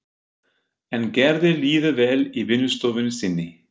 En Gerði líður vel í vinnustofunni sinni.